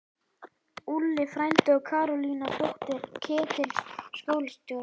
Úlli frændi og Karólína, dóttir Ketils skólastjóra!